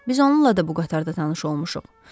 Biz onunla da bu qatarda tanış olmuşuq.